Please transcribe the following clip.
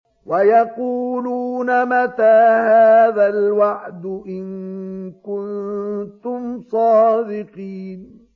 وَيَقُولُونَ مَتَىٰ هَٰذَا الْوَعْدُ إِن كُنتُمْ صَادِقِينَ